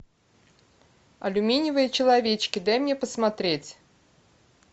алюминиевые человечки дай мне посмотреть